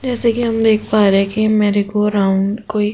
जैसे कि हम देख पा रहे हैं कि मेरी गो राउन्ड कोई --